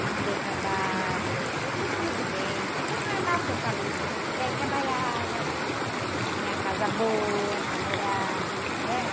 E não deu trabalho, foi tudo muito bem, foi tudo normal, como eu falo, uh, o velho trabalhava, eh, eh, tinha casa boa para morar, né?